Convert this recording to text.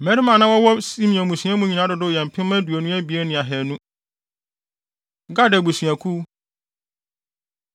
Mmarima a na wɔwɔ Simeon mmusua mu nyinaa dodow yɛ mpem aduonu abien ne ahannu (22,200). Gad Abusuakuw